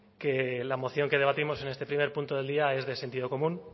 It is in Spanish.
que la moción que debatimos en este primer punto del día es de sentido común